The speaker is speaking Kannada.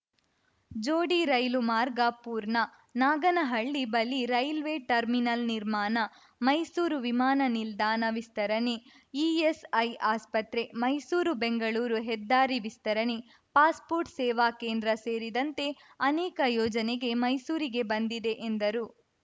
ಜೋಡಿ ರೈಲು ಮಾರ್ಗ ಪೂರ್ಣ ನಾಗನಹಳ್ಳಿ ಬಳಿ ರೈಲ್ವೆ ಟರ್ಮಿನಲ್‌ ನಿರ್ಮಾಣ ಮೈಸೂರು ವಿಮಾನ ನಿಲ್ದಾಣ ವಿಸ್ತರಣೆ ಇಎಸ್‌ಐ ಆಸ್ಪತ್ರೆ ಮೈಸೂರುಬೆಂಗಳೂರು ಹೆದ್ದಾರಿ ವಿಸ್ತರಣೆ ಪಾಸ್‌ಪೋರ್ಟ್‌ ಸೇವಾ ಕೇಂದ್ರ ಸೇರಿದಂತೆ ಅನೇಕ ಯೋಜನೆ ಮೈಸೂರಿಗೆ ಬಂದಿದೆ ಎಂದರು